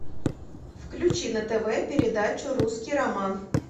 включи на тв передачу русский роман